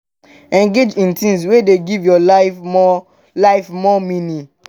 engage in things wey dey give your life more life more meaning